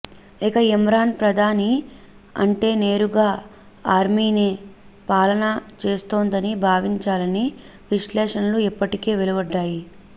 ఇక ఇమ్రాన్ ప్రధాని అంటే నేరుగా ఆర్మీనే పాలన చేస్తోందని భావించాలని విశ్లేషణలు ఇప్పటికే వెలువడ్డాయి